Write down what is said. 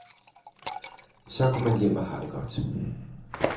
Så går man hjem og har det godt.